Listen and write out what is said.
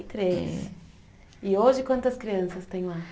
Três. E hoje quantas crianças tem lá?